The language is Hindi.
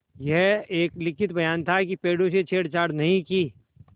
यह एक लिखित बयान था कि पेड़ों से छेड़छाड़ नहीं की